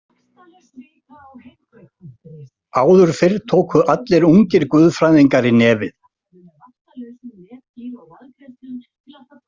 "Áður fyrr tóku allir úngir guðfræðingar í nefið. """